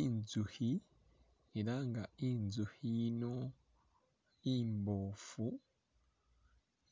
Inzukhi, ela nga inzukhi yino imboofu,